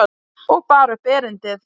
Og bar upp erindið.